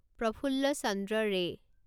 প্ৰফুল্ল চন্দ্ৰ ৰে